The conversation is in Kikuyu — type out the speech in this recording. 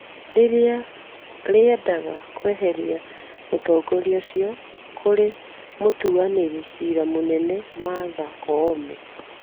rĩrĩa rĩendaga kweheria mũtongoria ũcio, kũrĩ mũtuanĩri cira mũnene Martha Koome.